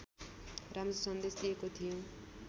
राम्रो सन्देश दिएको थियो